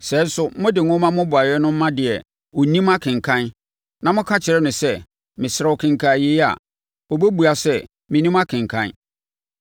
Sɛ nso, mode nwoma mmobɔeɛ no ma deɛ ɔnnim akenkan, na moka kyerɛ no sɛ, “Mesrɛ wo kenkan yei” a, ɔbɛbua sɛ, “Mennim akenkan.”